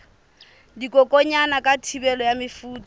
dikokwanyana ka thibelo ya mefuta